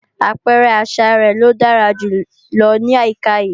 Àpẹrẹ àṣa rẹ̀ ló dára jù lọ ní àyíká yìí